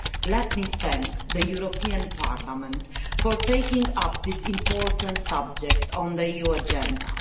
Let me thank the European Parliament for taking up this important subject on the EU agenda.